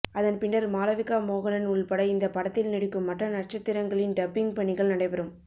அதன்பின்னர் மாளவிகா மோகனன் உள்பட இந்த படத்தில் நடிக்கும் மற்ற நட்சத்திரங்களின் டப்பிங் பணிகள் நடைபெறும்